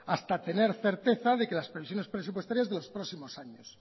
hasta tener certeza de las previsiones presupuestarias de los próximos años